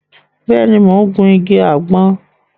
Béèni, mo n gun ìgi àgbọn